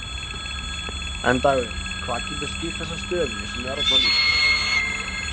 En Dagur, hvað getur skýrt þessa stöðu sem er þarna lýst?